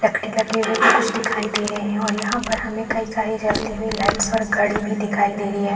लकड़ी लगे हुए भी कुछ दिखाई दे रहे है और यहाँ पर हमें कई सारे जलती हुई लाइट्स और घड़ी भी दिखाई दे रही हैं ।